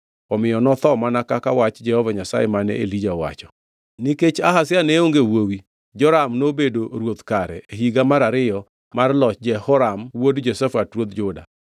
Omiyo notho mana kaka wach Jehova Nyasaye mane Elija owacho. Nikech Ahazia ne onge wuowi, Joram nobedo ruoth kare e higa mar ariyo mar loch Jehoram wuod Jehoshafat ruodh Juda.